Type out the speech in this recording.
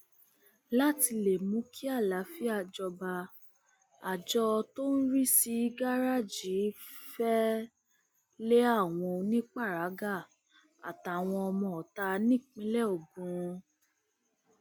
láti lè mú kí àlàáfíà jọba àjọ tó ń rí sí gàrẹẹjì fẹẹ lé àwọn oníparagà àtàwọn ọmọọta nípínlẹ ogun